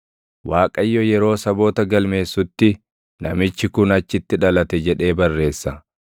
Waaqayyo yeroo saboota galmeessutti, “Namichi kun achitti dhalate” jedhee barreessa.